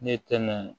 Ne tɛ mɛn